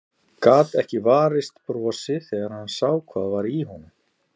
Gat ekki varist brosi þegar hann sá hvað var í honum.